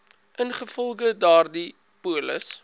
ingevolge daardie polis